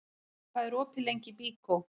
Tildra, hvað er opið lengi í Byko?